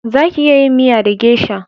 Za ki iya yin miya da gesha